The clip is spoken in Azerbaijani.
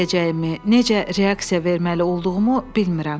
Nə deyəcəyimi, necə reaksiya verməli olduğumu bilmirəm.